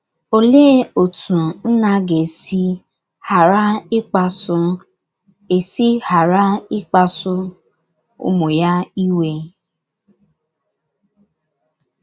Oléé otú nna ga - esi ghara ịkpasu esi ghara ịkpasu ụmụ ya iwe?